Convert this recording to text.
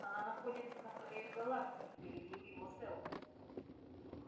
она находится на краю галактики перебил его сэлдон